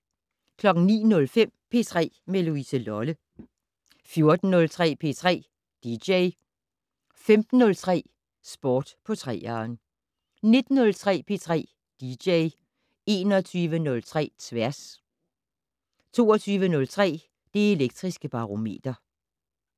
09:05: P3 med Louise Lolle 14:03: P3 dj 15:03: Sport på 3'eren 19:03: P3 dj 21:03: Tværs 22:03: Det Elektriske Barometer